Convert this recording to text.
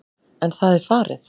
En það er farið.